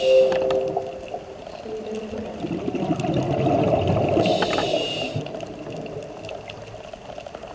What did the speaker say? Su dai kuɗaɗe ya kamata a kula da su yadda ya kamata.